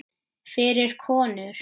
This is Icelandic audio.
Fyrir konur.